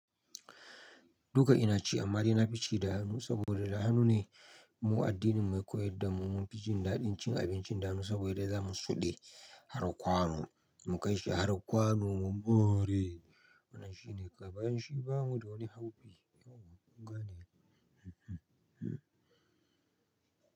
Duka ina ci amma dai na fi ci da hannu saboda da hannu ne mu addinin mu ya koyar da mu mun fi jin daɗin cin abinci da hannu saboda da za mu suɗe har kwano mu kai shi har kwano. Mu more Wannan shine kawai bayan shi bamu da wani haufi. Kawai kun gane ai.